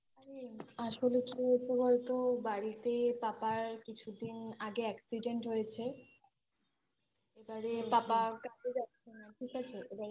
আরে আসলে কি হয়েছে বলতো বাড়িতে বাবার কিছুদিন আগে Accident হয়েছে এবারে পাপা কাজে যাচ্ছে না ঠিক আছে এবারে